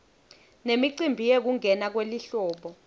nemicimbi yekungena kwelihlobo